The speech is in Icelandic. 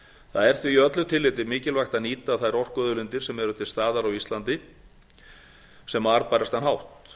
það er því í öllu tilliti mikilvægt að nýta þær orkuauðlindir sem eru til staðar á íslandi á sem arðbærastan hátt